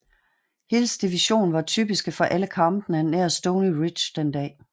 Hills division var typiske for alle kampene nær Stony Ridge den dag